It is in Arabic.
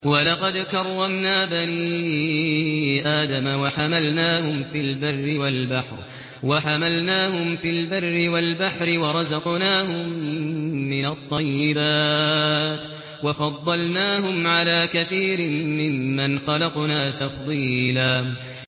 ۞ وَلَقَدْ كَرَّمْنَا بَنِي آدَمَ وَحَمَلْنَاهُمْ فِي الْبَرِّ وَالْبَحْرِ وَرَزَقْنَاهُم مِّنَ الطَّيِّبَاتِ وَفَضَّلْنَاهُمْ عَلَىٰ كَثِيرٍ مِّمَّنْ خَلَقْنَا تَفْضِيلًا